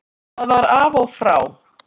Það var af og frá.